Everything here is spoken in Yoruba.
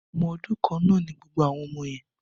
Ọmọ ọdún kan náà ni gbogbo àwọn ọmọ yen